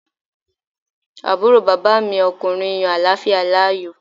Àbúrò bàbá mi ọkùnrin yan àláfíà láàyò